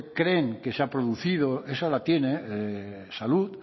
creen que se ha producido esa la tiene salud